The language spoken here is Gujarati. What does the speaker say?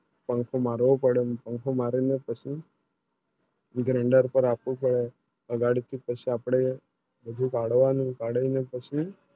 પાંખો મારવો પડે પાંખો મારી ને પછી Grinder પર આખો પડે ગાડી થી પછી આપણે કાચું પાડવાનું કડવી ને પછી